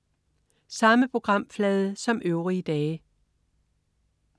Samme programflade som øvrige dage